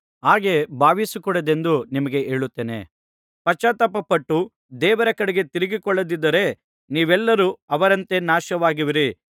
ಹಾಗೆ ಭಾವಿಸಕೂಡದೆಂದು ನಿಮಗೆ ಹೇಳುತ್ತೇನೆ ಪಶ್ಚಾತ್ತಾಪಪಟ್ಟು ದೇವರ ಕಡೆಗೆ ತಿರುಗಿಕೊಳ್ಳದಿದ್ದರೆ ನೀವೆಲ್ಲರೂ ಅವರಂತೆ ನಾಶವಾಗುವಿರಿ